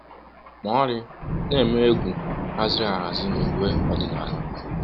Maori na-eme egwu um haziri ahazi n’uwe ọdịnala. um